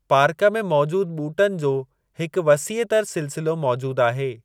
Park में मौजूदु ॿूटनि जो हिकु वसीअ तर सिलसिलो मौजूदु आहे।